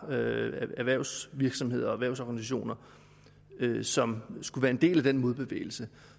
erhvervsvirksomheder og erhvervsorganisationer som skulle være en del af den modbevægelse